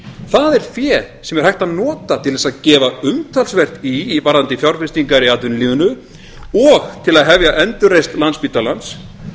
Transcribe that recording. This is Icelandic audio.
það er fé sem er hægt að nota til þess að gefa umtalsvert í varðandi fjárfestingar í atvinnulífinu og til að hefja endurreisn landspítalans